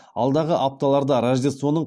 алдағы апталарда рождествоның